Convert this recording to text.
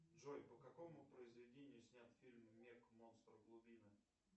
джой по какому произведению снят фильм мег монстр глубины